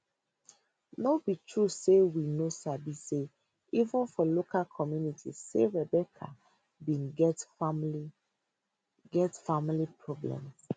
no be true say we no sabi say even for local community say rebecca bin get family get family problems